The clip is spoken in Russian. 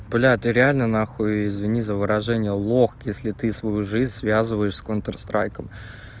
бля ты реально на хуй извини за выражение лох если ты свою жизнь связываешь с контр страйком